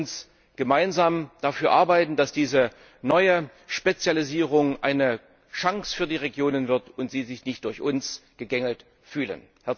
Lassen Sie uns gemeinsam dafür arbeiten, dass diese neue Spezialisierung eine Chance für die Regionen wird und sie sich nicht durch uns gegängelt fühlen!